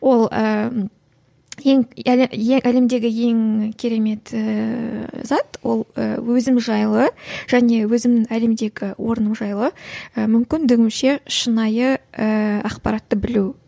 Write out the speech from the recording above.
ол ііі ең ең әлемдегі ең керемет ііі зат ол і өзің жайлы және өзің әлемдегі орның жайлы і мүмкіндігінше шынайы ііі ақпаратты білу